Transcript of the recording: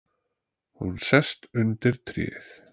Hún sest undir tréð.